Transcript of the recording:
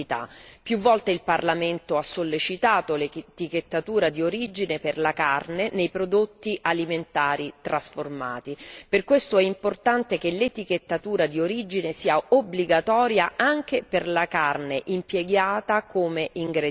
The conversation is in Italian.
Più volte il Parlamento ha sollecitato l'etichettatura di origine per la carne nei prodotti alimentari trasformati per questo è importante che l'etichettatura di origine sia obbligatoria anche per la carne impiegata come ingrediente.